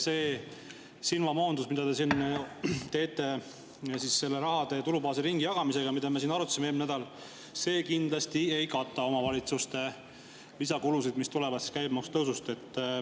See silmamoondus, mida te teete rahade tulubaasi ringijagamisega ja mida me siin arutasime eelmisel nädalal, ei kata kindlasti omavalitsuste lisakulusid, mis tulevad käibemaksu tõusust.